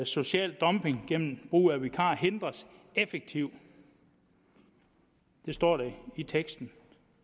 social dumping gennem brug af vikarer hindres effektivt det står der i teksten